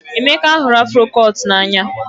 Emeka hụrụ afro cut n'anya